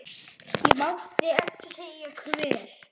Ég mátti ekki segja hvert.